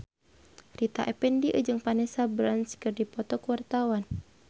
Rita Effendy jeung Vanessa Branch keur dipoto ku wartawan